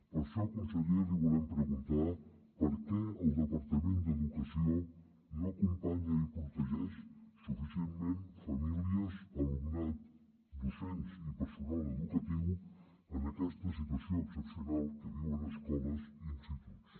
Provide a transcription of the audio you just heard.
per això conseller li volem preguntar per què el departament d’educació no acompanya i protegeix suficientment famílies alumnat docents i personal educatiu en aquesta situació excepcional que viuen escoles i instituts